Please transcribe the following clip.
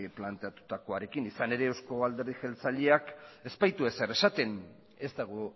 planteatutakoarekin izan ere euzko alderdi jeltzaleak ez baitu ezer esaten ez dago